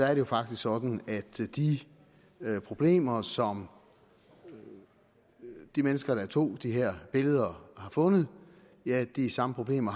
er det faktisk sådan at de problemer som de mennesker der tog de her billeder har fundet er de samme problemer